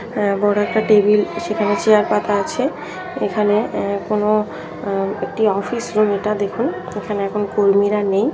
হ্যাঁ বড় একটা টেবিল সেখানে চায়ের পাতা আছে এখানে কোনো একটি অফিস রুম এটা দেখুন এখানে এখন কর্মীরা নেই।